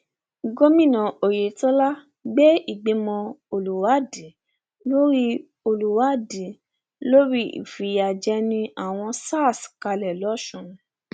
gomina oyetola gbé ìgbìmọ olùwádìí lórí olùwádìí lórí ìfìyàjẹni àwọn sars kalẹ lọsùn